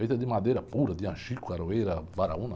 Feita de madeira pura, de anjico, caroeira, varaúna.